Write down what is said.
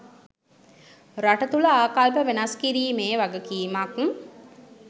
රට තුළ ආකල්ප වෙනස් කිරීමේ වගකීමක්